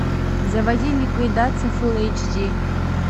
заводи ликвидация фулл эйч ди